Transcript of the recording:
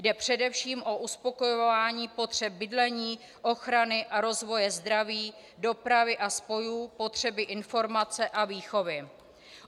Jde především o uspokojování potřeb bydlení, ochrany a rozvoje zdraví, dopravy a spojů, potřeby informace a výchovy.